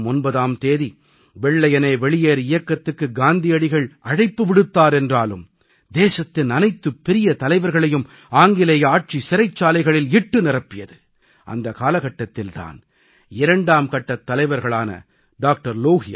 August மாதம் 9ஆம் தேதி வெள்ளையனே வெளியேறு இயக்கத்துக்கு காந்தியடிகள் அழைப்பு விடுத்தார் என்றாலும் தேசத்தின் அனைத்துப் பெரிய தலைவர்களையும் ஆங்கிலேய ஆட்சி சிறைச்சாலைகளில் இட்டு நிரப்பியது அந்த காலகட்டத்தில் தான் இரண்டாம் கட்டத் தலைவர்களான டா